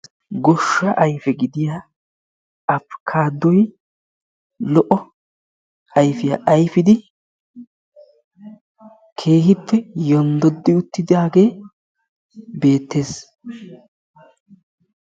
Goshsha aype gidiyaa abikkaddoy lo''o ayfiyaa ayfidi keehippe yonddodi uttidaage beettees.